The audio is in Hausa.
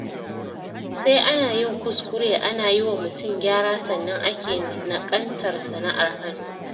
Sai ana yin kuskure ana yi wa mutum gyara, sannan ake naƙaltar sana'ar hannu.